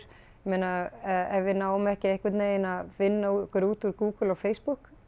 meina ef við náum ekki einhvern veginn að finna okkur út úr Google og Facebook